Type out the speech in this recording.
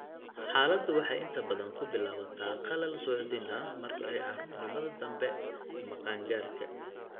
Xaaladdu waxay inta badan ku bilaabataa qallal suuxdin ah marka ay carruurnimada dambe ama qaan-gaarka.